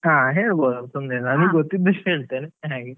ಹಾ ಹೇಳ್ಬೋದು ತೊಂದ್ರೆ ಇಲ್ಲ ಗೊತ್ತಿದ್ದಷ್ಟು ಹೇಳ್ತೆನೆ ಹಾಗೆ.